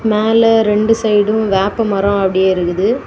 மேல இரண்டு சைடும் வேப்பமரம் அப்படியே இருக்குது.